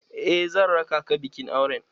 Eh zan raka ka bikin auren